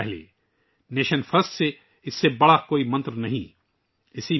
راشٹر پرتھم nation first اس سے بڑا کوئی منتر نہیں ہے